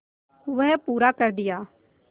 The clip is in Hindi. वह पूरा कर दिया